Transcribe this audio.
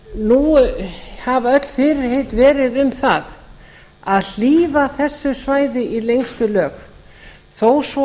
nú hafa öll fyrirheit verið um það að hlífa þessu svæði í lengstu lög þó svo